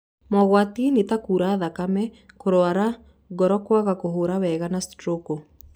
Mogwati nĩ ta kura thakame, kũrwara, ngoro kwaga kũhũra wega na stroko.